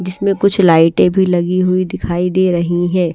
जिसमें कुछ लाइट भी लगी हुई दिखाई दे रही हैं।